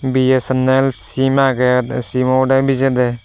bsnll sem agey sem oboda bejada.